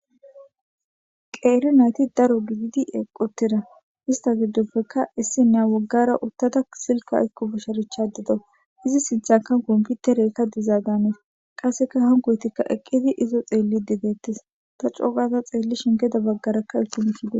Qeeri nayti daro gididi eqqotira ista giddoppeka issinyaa woggara uttada silka ikku busharichadido izi sinthanka omputerekka dizagaanes qasseka hankoytikka eqqidi izo xeelli dideettes ta cogaza xeelli shingeda baggarakka itimihide.